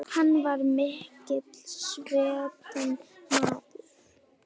Hann var mikils metinn maður.